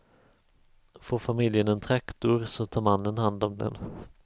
Får familjen en traktor så tar mannen hand om den.